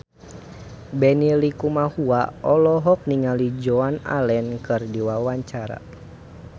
Benny Likumahua olohok ningali Joan Allen keur diwawancara